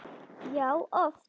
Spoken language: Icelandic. Já, oft.